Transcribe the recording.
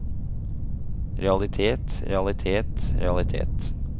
realitet realitet realitet